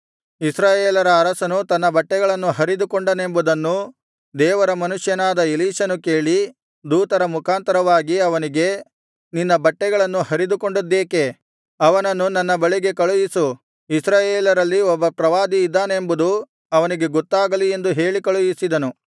ಇಸ್ರಾಯೇಲರ ಅರಸನು ತನ್ನ ಬಟ್ಟೆಗಳನ್ನು ಹರಿದುಕೊಂಡನೆಂಬುದನ್ನು ದೇವರ ಮನುಷ್ಯನಾದ ಎಲೀಷನು ಕೇಳಿ ದೂತರ ಮುಖಾಂತರವಾಗಿ ಅವನಿಗೆ ನೀನು ನಿನ್ನ ಬಟ್ಟೆಗಳನ್ನು ಹರಿದುಕೊಂಡದ್ದೇಕೆ ಅವನನ್ನು ನನ್ನ ಬಳಿಗೆ ಕಳುಹಿಸು ಇಸ್ರಾಯೇಲರಲ್ಲಿ ಒಬ್ಬ ಪ್ರವಾದಿಯಿದ್ದಾನೆಂಬುದು ಅವನಿಗೆ ಗೊತ್ತಾಗಲಿ ಎಂದು ಹೇಳಿ ಕಳುಹಿಸಿದನು